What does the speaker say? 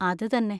അത് തന്നെ.